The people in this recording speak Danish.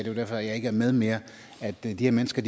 er derfor jeg ikke er med mere at de her mennesker